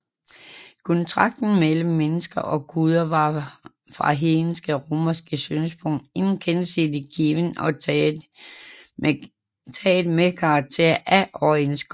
Kontakten mellem menneske og guder var fra hedenske romeres synspunkt en gensidig given og tagen med karakter af overenskomst